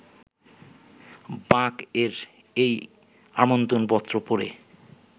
বাক-এর এই আমন্ত্রণপত্র পড়ে